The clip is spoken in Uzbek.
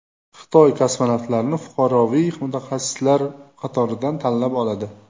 Xitoy kosmonavtlarni fuqaroviy mutaxassislar qatoridan tanlab oladi.